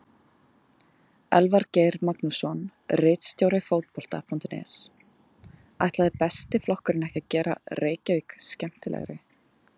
Elvar Geir Magnússon, ritstjóri Fótbolta.net: Ætlaði Besti flokkurinn ekki að gera Reykjavík skemmtilegri?